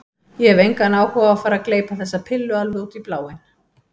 Ég hef engan áhuga á að fara að gleypa þessa pillu alveg út í bláinn.